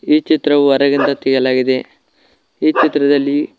ಈ ಚಿತ್ರವು ಹೊರಗಿಂದ ತೆಗೆಯಲಾಗಿದೆ ಈ ಚಿತ್ರದಲ್ಲಿ--